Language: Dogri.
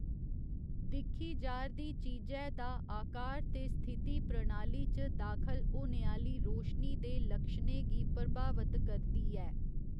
दिक्खी जा'रदी चीजै दा आकार ते स्थिति प्रणाली च दाखल होने आह्‌ली रोशनी दे लक्षणें गी प्रभावत करदी ऐ।